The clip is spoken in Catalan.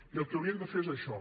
i el que haurien de fer és això